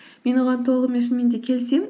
мен оған толығымен шынымен де келісемін